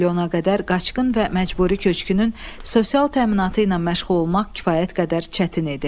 Bir milyona qədər qaçqın və məcburi köçkünün sosial təminatı ilə məşğul olmaq kifayət qədər çətin idi.